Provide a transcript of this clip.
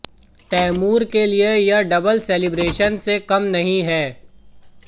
तैमूर के लिए यह डबल सेलिब्रेशन से कम नहीं है